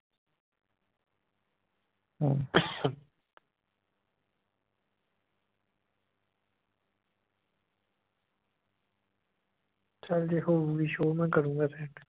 ਚੱਲ ਜੇ ਹੋਊਗੀ show ਮੈਂ ਕਰੂੰਗਾ send